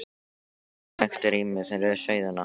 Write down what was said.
Það verður nægt rými fyrir sauðina.